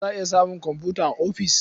Za a iya samun komfuta a ofis.